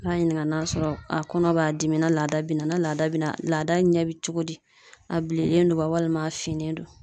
N'a ɲininka n'a sɔrɔ a kɔnɔ b'a dimi na laada be na. Ni laada be na laada ɲɛ be cogo di, a bilennen don wa walima a finnen don.